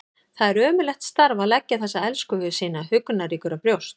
Það er ömurlegt starf að leggja þessa elskhuga sína huggunarríkur á brjóst.